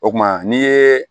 O kuma n'i ye